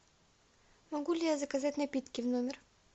могу ли я заказать напитки в номер